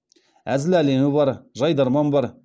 әзіл әлемі бар жайдарман бар